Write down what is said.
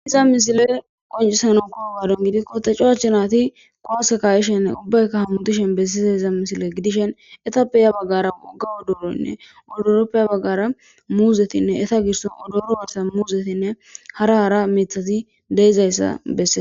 Iza misile qoncisano kuro waadon gidi kote cowachunati kowase kayishene ubbaykka hamutishen bessize iza misile gidishen etappe ya baggara gawo dooroynne udoroppeya baggara muuzetinne eta girson odooro warsa muuzetinne hara hara mithati deizayssa bessee.